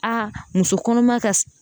A muso kɔnɔma ka